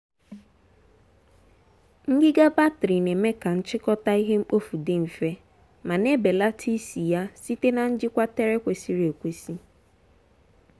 ngịga batrị na-eme ka nchịkọta ihe mkpofu dị mfe ma na-ebelata isi ya site na njikwa tere kwesịrị ekwesị.